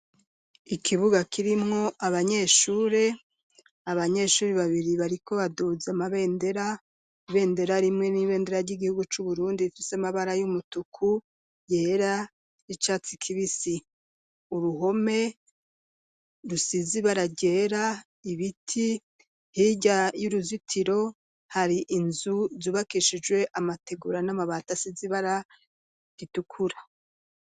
Ikibuga kirimwo abanyeshure, abanyeshure babiri bariko baduhuze amabendera ibendera rimwe n'ibendera ry'igihugu c'uburundi ifise amabara y'umutuku yera r'icatsi kibisi, uruhome rusizi baragera ibiti hirya y'uruzitiro hari inzu zubakeshijwe amategura n'amabata asize ibara ritukura.